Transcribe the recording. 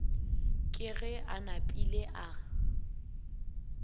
ke ge a napile a